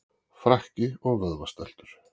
Frakki og vöðvastæltur.